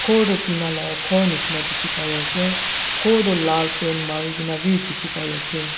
gor toh tina lah gor nishina dikhi pai ase ghor toh lal paint marinah bi dikhi pai ase.